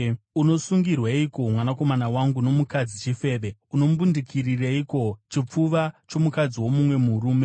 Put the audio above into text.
Unosungirweiko, mwanakomana wangu, nomukadzi chifeve? Unombundikirireiko chipfuva chomukadzi womumwe murume?